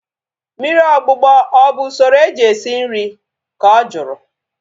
Mmiri ogbugbọ ọ bụ usoro eji esi nri? Ka ọ jụrụ